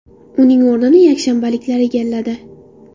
Uning o‘rnini yakshanbaliklar egalladi.